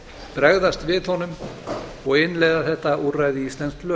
bregðast við honum og innleiða þetta úrræði í íslensk lög